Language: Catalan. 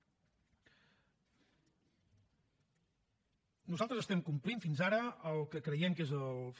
nosaltres complim fins ara el que creiem que és en fi